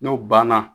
N'o banna